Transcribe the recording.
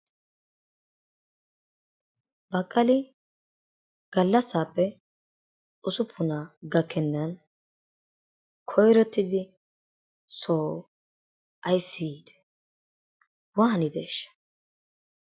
Baqaali gallasappe usupunna gakenanni koyrottidi soo ayssi yiidee, wanideshshaa?